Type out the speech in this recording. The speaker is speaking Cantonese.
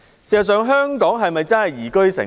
事實上，香港是否真的是宜居城市？